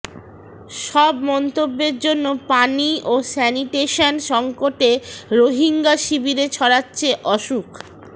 সব মন্তব্যের জন্য পানি ও স্যানিটেশন সংকটে রোহিঙ্গা শিবিরে ছড়াচ্ছে অসুখ